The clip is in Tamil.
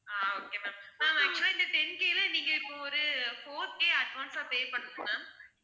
ஆஹ் okay ma'am ma'am actual ah இந்த ten K ல நீங்க இப்ப ஒரு four K advance ah pay பண்ணுங்க ma'am